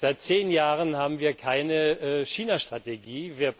Seit zehn Jahren haben wir keine China Strategie.